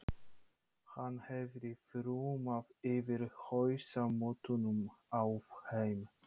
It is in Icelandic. Hann hefði þrumað yfir hausamótunum á þeim.